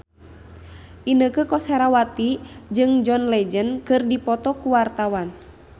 Inneke Koesherawati jeung John Legend keur dipoto ku wartawan